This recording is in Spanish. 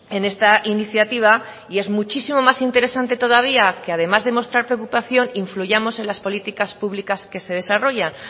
en esta iniciativa y es muchísimo más interesante todavía que además de mostrar preocupación influyamos en las políticas públicas que se desarrollan